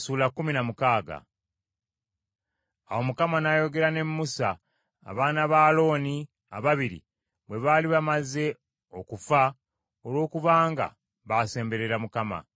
Awo Mukama n’ayogera ne Musa, abaana ba Alooni ababiri bwe baali bamaze okufa olwokubanga baasemberera Mukama .